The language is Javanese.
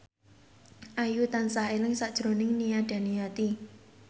Ayu tansah eling sakjroning Nia Daniati